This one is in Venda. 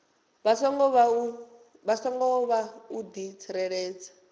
songo vha u di tsireledza